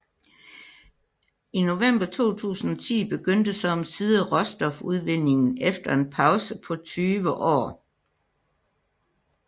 I november 2010 begyndte så omsider råstofudvindingen efter en pause på 20 år